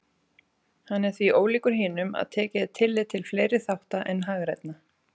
Hann er því ólíkur hinum að tekið er tillit til fleiri þátta en hagrænna.